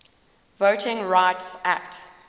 voting rights act